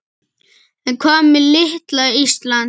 En hvað með litla Ísland?